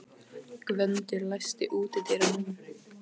Gvöndur, læstu útidyrunum.